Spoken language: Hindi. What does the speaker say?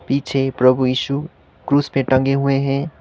पीछे प्रभु ईशू क्रूज़ पे टंगे हुएं हैं।